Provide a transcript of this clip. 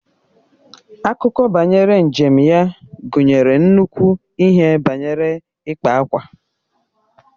Akụkọ banyere njem ya gụnyere nnukwu ihe banyere ịkpa ákwà